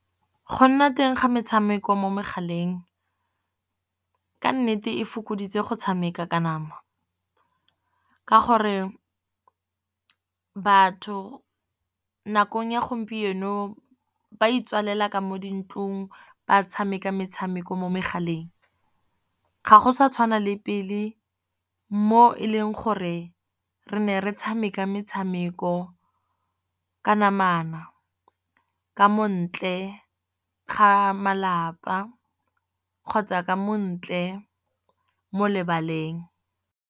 Go nna teng ga metshameko mo megaleng ka nnete e fokoditse go tshameka ka nama. Ka gore batho nakong ya gompieno ba itswalela ka mo dintlong, ba tshameka metshameko mo megaleng. Ga go sa tshwana le pele mo e leng gore re ne re tshameka metshameko ka namana. Ka montle ga malapa kgotsa ka mo ntle mo lebaleng.